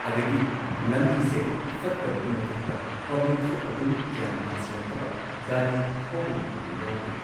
ꯑꯗꯒꯤ ꯂꯝꯕꯤꯁꯦ ꯐꯠꯇꯕꯒꯤ ꯃꯊꯛꯇ ꯄꯕ꯭ꯂꯤꯛꯁꯨ ꯑꯗꯨꯝ ꯒ꯭ꯌꯥꯟ ꯇꯥꯁꯤꯜꯂꯛꯇꯕ ꯒꯥꯔꯤ ꯊꯧꯕ ꯃꯇꯝꯗ ꯌꯥꯎꯗꯦ꯫